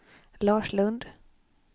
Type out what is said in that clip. Lars Lundh